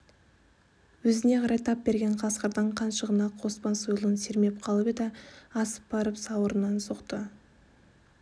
өзіне қарай тап берген қасқырдың қаншығына қоспан сойылын сермеп қалып еді асып барып сауырынан соқты